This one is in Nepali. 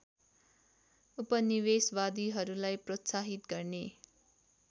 उपनिवेशवादीहरूलाई प्रोत्साहित गर्ने